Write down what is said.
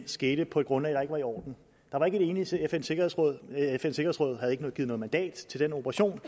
skete på et grundlag var i orden der var ikke et enigt fn sikkerhedsråd havde ikke givet noget mandat til den operation